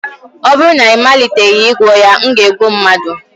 ọ bụrụ na ị maliteghị ịgwọ ya, m ga-egbu mmadụ